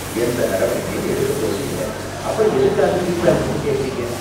எந்த நடவடிக்கையும் எடுக்கப்போறது இல்ல, அப்பறம் எதுக்காக ஃபீட்பேக் மட்டும் கேக்கறீங்க